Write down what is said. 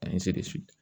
An ye segin